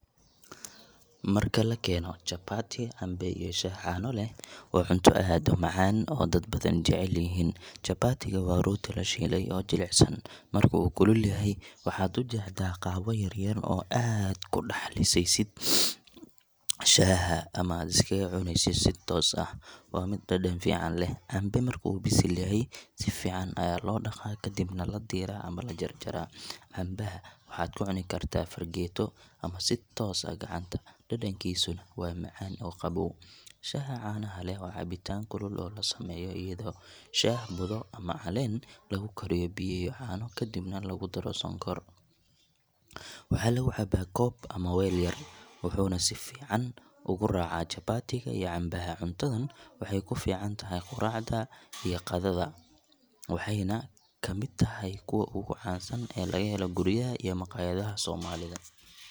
Marka la keeno chapati, cambe, iyo shaah caano leh, waa cunto aad u macaan oo dad badan jecel yihiin. Chapati ga waa rooti la shiilay oo jilicsan. Marka uu kulul yahay, waxaad u jeexdaa qaybo yar yar oo aad ku dhex lisaysid shaaha ama aad iskaga cunaysid si toos ah. Waa mid dhadhan fiican leh. Cambe marka uu bisil yahay, si fiican ayaa loo dhaqaa, kadibna la diiraa ama la jarjaraa. Cambaha waxaad ku cuni kartaa fargeeto ama si toos ah gacanta, dhadhankiisuna waa macaan oo qabow. Shaaha caanaha leh, waa cabitaan kulul oo la sameeyo iyadoo shaah budo ama caleen lagu kariyo biyo iyo caano, kadibna lagu daro sonkor. Waxaa lagu cabaa koob ama weel yar, wuxuuna si fiican ugu raacaa chapati ga iyo cambaha. Cuntadan waxay ku fiican tahay quraacda ama qadada, waxayna ka mid tahay kuwa ugu caansan ee laga helo guryaha iyo maqaayadaha Soomaalida.